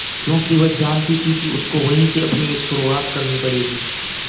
क्योंकि वह जानती थी कि उसको वहीं से अपनी एक शुरुआत करनी पड़ेगी